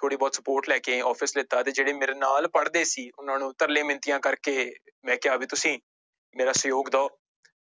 ਥੋੜ੍ਹੀ ਬਹੁਤ support ਲੈ ਕੇ office ਲਿੱਤਾ ਤੇ ਜਿਹੜੇ ਮੇਰੇ ਨਾਲ ਪੜ੍ਹਦੇ ਸੀ ਉਹਨਾਂ ਨੂੰ ਤਰਲੇ ਮਿੰਨਤੀਆਂ ਕਰਕੇ ਮੈਂ ਕਿਹਾ ਵੀ ਤੁਸੀਂ ਮੇਰਾ ਸਹਿਯੋਗ ਦਓ